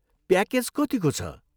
Package कतिको छ?